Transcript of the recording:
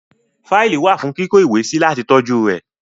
Fáìlì wà fún kíkó ìwé sí láti tọ́jú rẹ̀.